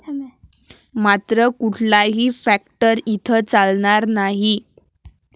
मात्र कुठलाही फॅक्टर इथं चालणार नाही.